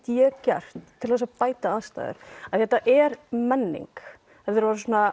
ég gert til þess að bæta aðstæður því þetta er menning þetta er